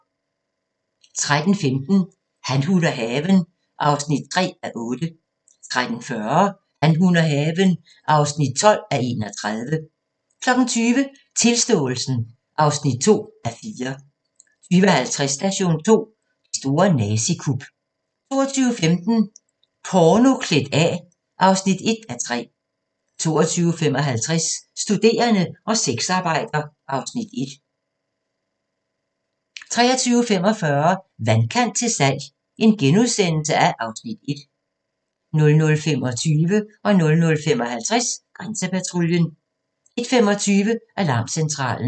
13:15: Han, hun og haven (3:8) 13:40: Han, hun og haven (12:31) 20:00: Tilståelsen (2:4) 20:50: Station 2: Det store nazikup 22:15: Porno klædt af (1:3) 22:55: Studerende og sexarbejder (Afs. 1) 23:45: Vandkant til salg (Afs. 1)* 00:25: Grænsepatruljen 00:55: Grænsepatruljen 01:25: Alarmcentralen